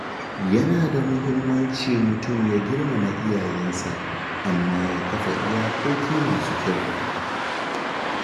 Yana da muhimmanci mutum ya girmama iyayensa, amma ya kafa iyakoki masu kyau.